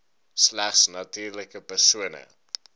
slegs natuurlike persone